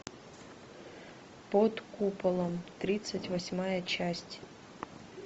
под куполом тридцать восьмая часть